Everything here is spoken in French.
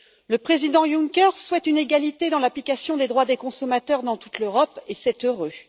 Le président Juncker souhaite une égalité dans l'application des droits des consommateurs dans toute l'Europe et c'est heureux.